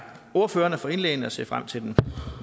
ordførerne for indlæggene og jeg ser frem til den